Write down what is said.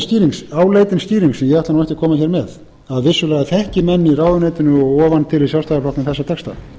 nú ekki að koma hér með að vissulega þekki menn í ráðuneytinu og ofan til í sjálfstæðisflokknum þessa texta